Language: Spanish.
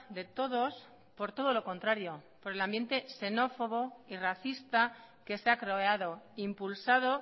de todos por todo lo contrario por el ambiente xenófobo y racista que se ha creado impulsado